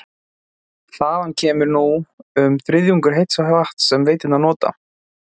Þaðan kemur nú um þriðjungur heits vatns sem veiturnar nota.